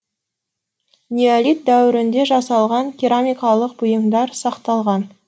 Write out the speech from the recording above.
неолит дәуірінде жасалған керамикалық бұйымдар сақталған